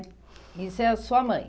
Isso é sua mãe?